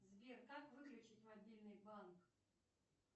сбер как выключить мобильный банк